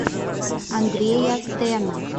андрея тена